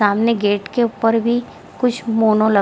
सामने गेट के ऊपर भी कुछ मोनो ल --